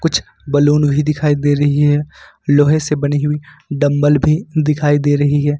कुछ बैलून भी दिखाई दे रही है लोहे से बनी हुई डंबल भी दिखाई दे रही है।